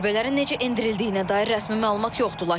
Zərbələrin necə endirildiyinə dair rəsmi məlumat yoxdur.